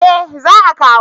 Eh za a kawo